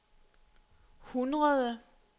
hundrede